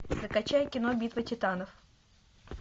закачай кино битва титанов